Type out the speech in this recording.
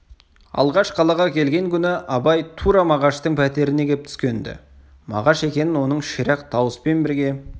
алғаш қалаға келген күні абай тура мағаштың пәтеріне кеп түскен-ді мағаш екенін оның ширақ дауыспен берген